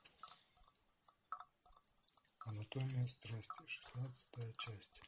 анатомия страсти шестнадцатая часть